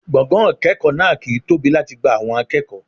Gbọ̀ngàn ìkẹ́kọ̀ọ́ náà kì ń tóbi láti gba àwọn akẹ́kọ̀ọ́.